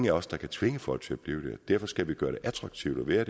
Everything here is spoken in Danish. af os der kan tvinge folk til at blive der derfor skal vi gøre det attraktivt at være